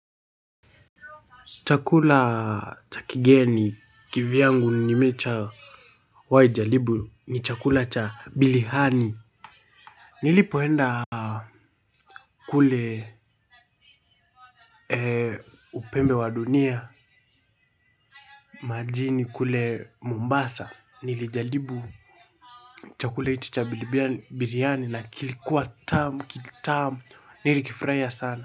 Chakula cha kigeni kivyangu nimeshawahi jaribu ni chakula cha biriani. Nilipoenda kule upembe wa dunia, majini kule mombasa. Nilijaribu chakula hicho cha biriani na kilikuwa kitamu, nilikifurahia sana.